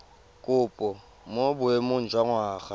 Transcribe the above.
kopo mo boemong jwa ngwana